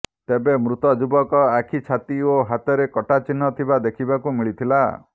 ତେବେ ମୃତ ଯୁବକ ଆଖି ଛାତି ଓ ହାତରେ କଟା ଚିହ୍ନ ଥିବା ଦେଖିବାକୁ ମିଳିଥିଲା